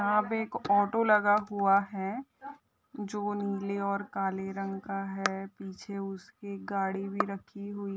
यहाँ पे एक ऑटो लगा हुआ है जो नीले और काले रंग का है। पीछे उसके गाड़ी भी रखी हुई---